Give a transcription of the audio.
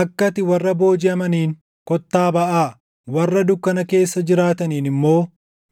akka ati warra boojiʼamaniin, ‘Kottaa baʼaa’ warra dukkana keessa jiraataniin immoo,